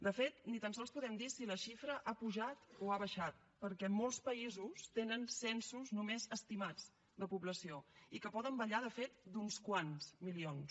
de fet ni tan sols podem dir si la xifra ha pujat o ha baixat perquè molts països tenen censos només estimats de població i que poden ballar de fet d’uns quants milions